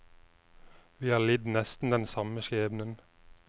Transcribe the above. Vi har lidd nesten den samme skjebnen.